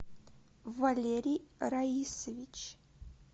валерий раисович